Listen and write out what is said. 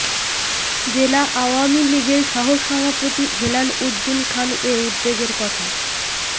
জেলা আওয়ামী লীগের সহসভাপতি হেলাল উদ্দিন খান এ উদ্বেগের কথা